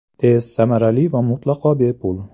Tez, samarali va mutlaqo bepul!